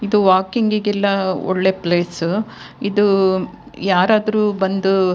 ಇದು ವಾಕಿಂಗ್ ಗೆಲ್ಲ ಒಳ್ಳೆ ಪ್ಲೇಸ್ ಇದು ಯಾರಾದ್ರೂ ಬಂದು --